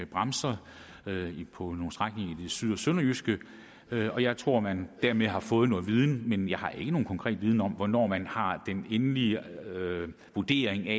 bremser på nogle strækninger i det syd og sønderjyske og jeg tror at man dermed har fået noget viden men jeg har ikke nogen konkret viden om hvornår man har den endelige vurdering af